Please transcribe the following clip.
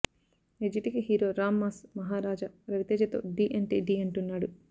ఎర్జిటిక్ hero Ram mass Maharaja రవితేజతో ఢీ అంటే ఢీ అంటున్నాడు